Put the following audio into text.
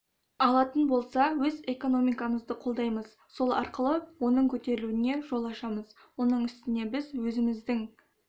алатын болса өз экономикамызды қолдаймыз сол арқылы оның көтерілуіне жол ашамыз оның үсіне біз өзіміздің